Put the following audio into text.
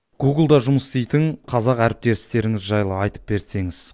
гугл да жұмыс істейтін қазақ әріптестеріңіз жайлы айтып берсеңіз